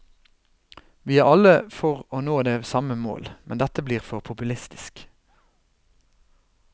Vi er alle for å nå det samme mål, men dette blir for populistisk.